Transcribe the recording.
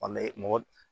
An bɛ mɔgɔ